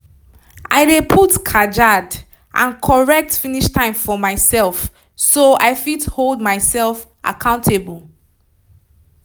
i dey put kajad and correct finish time for myself so i fit hold myself accountable